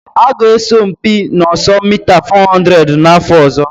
Ha ga-asọ mpi n'ọsọ mita 400 n'afọ ọzọ.